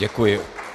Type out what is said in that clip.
Děkuji.